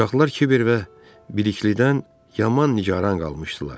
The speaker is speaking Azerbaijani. Uşaqlar Kiber və Biliklidən yaman nigaran qalmışdılar.